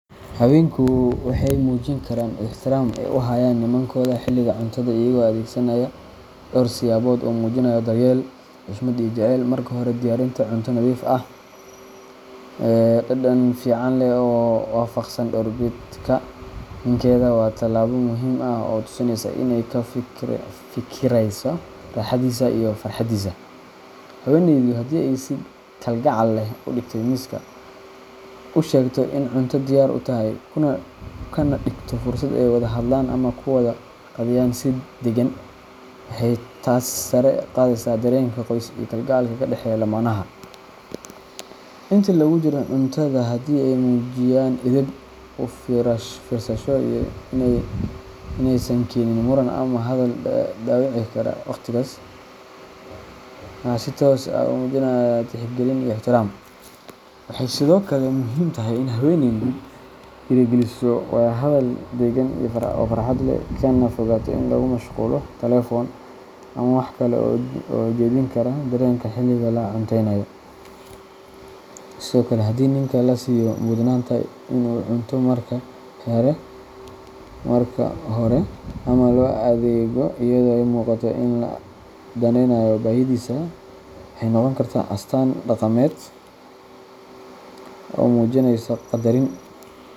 Haweenku waxay muujin karaan ixtiraamka ay u hayaan nimankooda xiliga cuntada iyagoo adeegsanaya dhowr siyaabood oo muujinaya daryeel, xushmad, iyo jacayl. Marka hore, diyaarinta cunto nadiif ah, dhadhan fiican leh oo waafaqsan doorbidka ninkeeda waa talaabo muhim ah oo tusinaysa in ay ka fikirayso raaxadiisa iyo farxadiisa. Haweeneydu haddii ay si kalgacal leh u dhigtay miiska, u sheegto in cunto diyaar u tahay, kana dhigto fursad ay wada hadlaan ama ku wada qadeeyaan si deggan, waxay taas sare u qaadaysaa dareenka qoys iyo kalgacalka ka dhexeeya lamaanaha. Intii lagu jiro cuntada, haddii ay muujiyaan edeb, u fiirsasho, iyo in aysan keenin muran ama hadal dhaawici kara waqtigaas, waxay si toos ah ugu muujinayaan tixgelin iyo ixtiraam. Waxay sidoo kale muhiim tahay in haweeneydu dhiirrigeliso wada hadal daggan oo farxad leh, kana fogaato in lagu mashquulo telefoon ama wax kale oo jeedin kara dareenka xiliga la cunteynayo. Sidoo kale, haddii ninka la siiyo mudnaanta in uu cunto marka hore, ama loo adeego iyadoo ay muuqato in loo daneynayo baahidiisa, waxay noqon kartaa astaan dhaqameed oo muujinaysa qadarin.